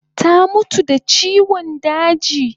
Ta mutu da chiwan daji